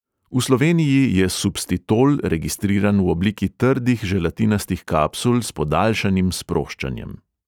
V sloveniji je substitol registriran v obliki trdih želatinastih kapsul s podaljšanim sproščanjem.